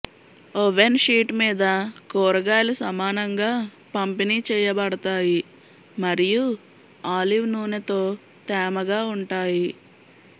oven sheet మీద కూరగాయలు సమానంగా పంపిణీ చేయబడతాయి మరియు ఆలివ్ నూనెతో తేమగా ఉంటాయి